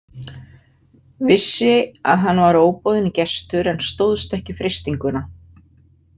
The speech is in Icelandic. Vissi að hann var óboðinn gestur en stóðst ekki freistinguna.